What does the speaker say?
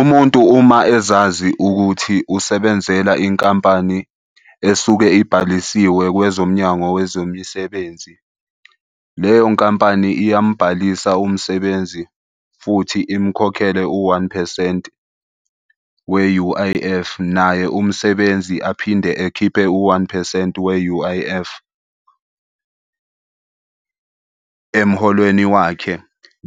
Umuntu uma ezazi ukuthi usebenzela inkampani esuke ibhalisiwe kwezomnyango wezemisebenzi, leyo nkampani iyambhalisa umsebenzi futhi imkhokhele u-one phesenti we-U_I_F. Naye umsebenzi aphinde ekhiphe u-one phesenti we-U_I_F emholweni wakhe.